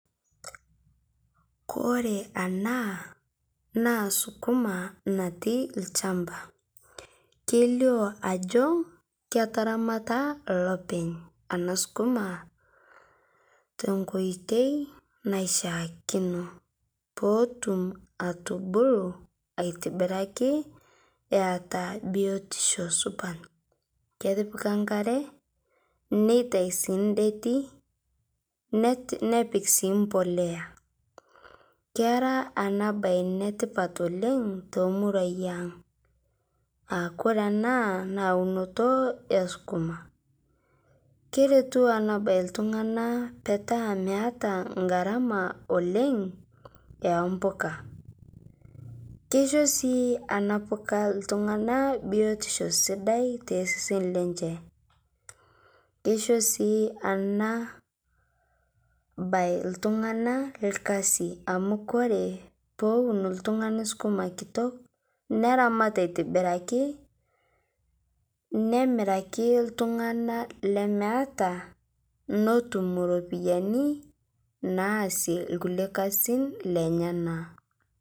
Kore ana naa sukuma nati lchampa keilio ajo ketaramata lopeny ana sukuma tenkoitei naishiakino pootum atubuluu aitibiraki eataa biotisho supat ketipika nkaree neitai sii ndetii nepik sii mpolea kera anaa bai netipat oleng' tomuruai ang' aakore anaa naa unoto esukuma, keretu ana bai ltung'ana petaa meata ngaramaa oleng' empuka. Keisho sii ana pukaa ltung'ana biotisho sidai teseseni lenshe, keisho sii ana bai ltung'ana lkazi amu kore powuni ltung'ani sukuma kitok neramat aitibiraki, nemiraki ltung'ana lemeata notum ropiyani naasie lkulie kazin lenyanaa.